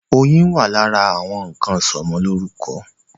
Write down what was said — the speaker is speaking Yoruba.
Oyin wà lára àwọn nnkan ìsọmọlórúkọ.